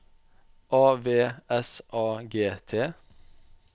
A V S A G T